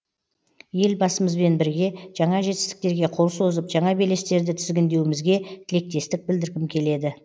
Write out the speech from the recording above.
елбасымызбен бірге жаңа жетістіктерге қол созып жаңа белестерді тізгіндеуімізге тілектестік білдіргім келеді